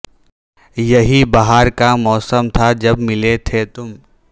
یہی بہار کا موسم تھا جب ملے تھے تم